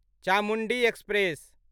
Chamundi express